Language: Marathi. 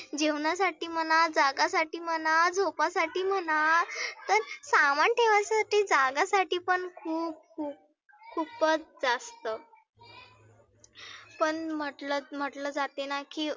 जेवणासाठी म्हणा, जागा साठी म्हणा, झोपा साठी म्हणा, तर सामान ठेवा साठी जागासाठी पण खुप खुप खुपच जास्त पण म्हटल म्हटलं जातेना की